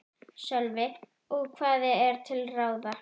Sölvi: Og hvað er til ráða?